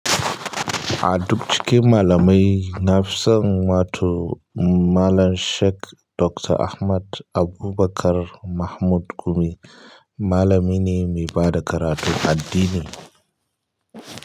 A duk cikin malamai, na fi son wato Mallam Sheik Doctor Ahmad Abubakar Mahmud Gumi. Malami ne mai bada karatu addini.